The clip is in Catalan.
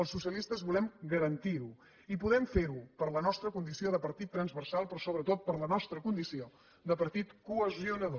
els socialistes volem garantir ho i podem fer ho per la nostra condició de partit transversal però sobretot per la nostra condició de partit cohesionador